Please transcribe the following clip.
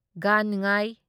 ꯒꯥꯟ ꯉꯥꯢ